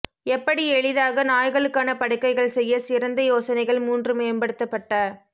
எப்படி எளிதாக நாய்களுக்கான படுக்கைகள் செய்ய சிறந்த யோசனைகள் மூன்று மேம்படுத்தப்பட்ட